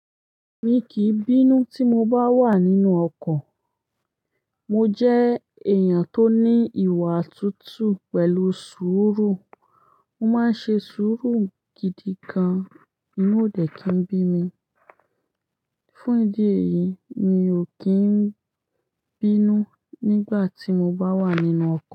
Mi kì í bínú tí mo bá wà nínú ọkọ̀. Mo jẹ́ èèyàn tó ní ìwà tútù pẹ̀lú sùúrù. Mo máa ń ṣe sùúrù gidi gan-an, inú ò dẹ̀ kí n bí mi. Fún ìdí èyí, mi ò kí n bínú nígbà tí mo bá wà nínú ọkọ̀.